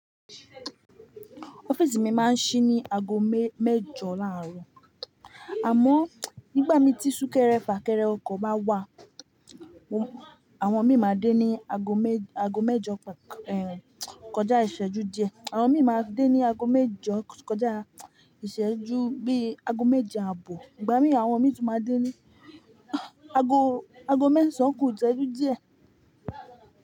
Office mi máa ń ṣí ní ago mẹ- mẹ́jọ láàárọ̀. Àmọ́ nígbà mí tí súnkẹrẹ fà kẹrẹ ọkọ̀ bá wà, àwọn mi máa dé ní ago mẹ́- ago mẹ́jọ, en kọjá ìṣẹ́jú díẹ̀. Àwọn mi máa dé ní ago mẹ́jọ kọjá ìṣẹ́jú bí ago méje àbò. Ìgbà mí àwọn mi tó máa dé ní ago, ago mẹ́sàn-án kù ìṣẹ́jú díẹ̀.